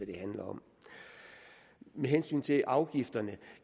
det handler om med hensyn til afgifterne